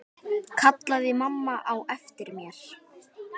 kallaði mamma á eftir mér.